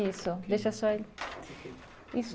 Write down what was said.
Isso, deixa só ele. Isso